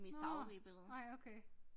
Nåh nej okay